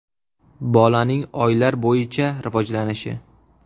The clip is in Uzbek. Bolaning oylar bo‘yicha rivojlanishi.